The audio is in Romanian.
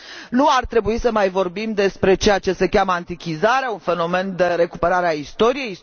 Nu ar trebui să mai vorbim despre ceea ce se cheamă antichizarea, un fenomen de recuperare a istoriei.